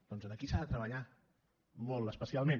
doncs aquí s’ha de treballar molt especialment